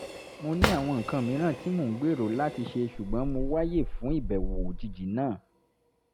mo ní àwọn nǹkan mìíràn tí mò ń gbèrò láti ṣe ṣùgbọ́n mo wáyè fún ìbẹ̀wò òjijì náà